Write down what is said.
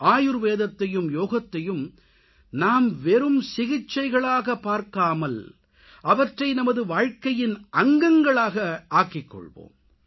ஆயுர்வேதத்தையும் யோகத்தையும் நாம் வெறும் சிகிச்சைகளாகப் பார்க்காமல் அவற்றை நமது வாழ்க்கையின் அங்கங்களாக ஆக்கிக்கொள்வோம்